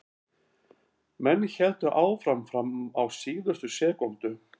Menn héldu áfram fram á síðustu sekúndu.